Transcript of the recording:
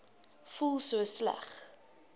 voel so sleg